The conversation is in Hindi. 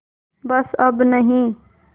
बस अब नहीं